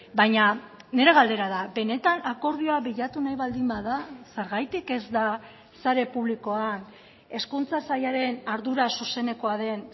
baina nire galdera da benetan akordioa bilatu nahi baldin bada zergatik ez da sare publikoan hezkuntza sailaren ardura zuzenekoa den